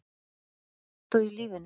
Áttu mottó í lífinu?